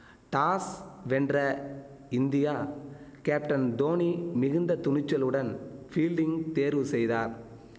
toss வென்ற India captain Dhoni மிகுந்த துணிச்சலுடன் ஃபீல்டிங் தேர்வு செய்தார்